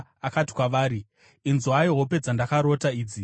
Akati kwavari, “Inzwai hope dzandakarota idzi: